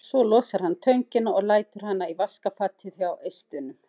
Svo losar hann töngina og lætur hana í vaskafatið hjá eistunum.